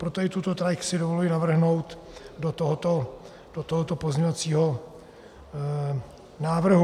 Proto i tuto trať si dovoluji navrhnout do tohoto pozměňovacího návrhu.